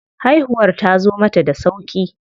Haihuwar tazo mata da sauƙi.